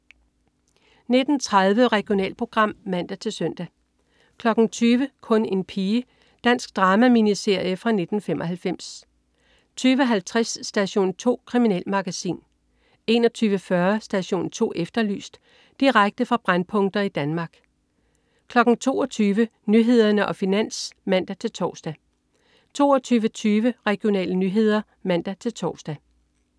19.30 Regionalprogram (man-søn) 20.00 Kun en pige. Dansk drama-miniserie fra 1995 20.50 Station 2. Kriminalmagasin 21.40 Station 2 Efterlyst. Direkte fra brændpunkter i Danmark 22.00 Nyhederne og Finans (man-tors) 22.20 Regionale nyheder (man-tors)